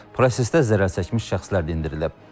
Prosesdə zərərçəkmiş şəxslər dindirilib.